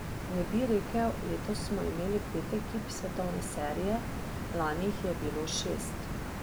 Ne bi rekel, letos smo imeli pet ekip svetovne serije, lani jih je bilo šest.